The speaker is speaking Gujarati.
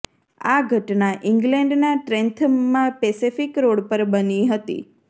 આ ઘટના ઇંગ્લેન્ડનાં ટ્રેન્થમમાં પેસેફિક રોડ પર બની હતી